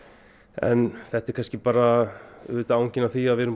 en þetta er kannski bara angi af því að